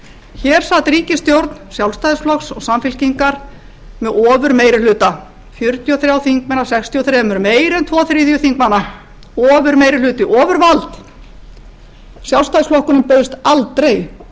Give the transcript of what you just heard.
hér sat ríkisstjórn sjálfstæðisflokks og samfylkingar með ofurmeirihluta fjörutíu og þrír þingmenn af sextíu og þrjú meira en tveir þriðju þingmanna ofurmeirihluta ofurvald sjálfstæðisflokkurinn bauðst aldrei til þess